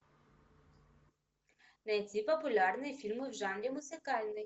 найти популярные фильмы в жанре музыкальный